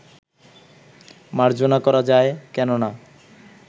মার্জনা করা যায়, কেন না